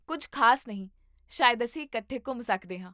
ਕੁੱਝ ਖ਼ਾਸ ਨਹੀਂ, ਸ਼ਾਇਦ ਅਸੀਂ ਇਕੱਠੇ ਘੁੰਮ ਸਕਦੇ ਹਾਂ